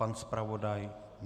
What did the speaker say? Pan zpravodaj?